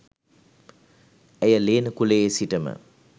ඇය ලේන කුලයේ සිටම